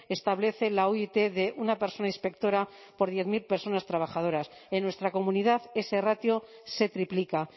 establece la oit de una persona inspectora por diez mil personas trabajadoras en nuestra comunidad ese ratio se triplica